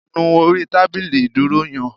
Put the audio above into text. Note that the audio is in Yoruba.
Nu orí tábìlì ìdúró yan